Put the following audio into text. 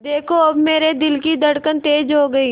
देखा अब मेरे दिल की धड़कन तेज़ हो गई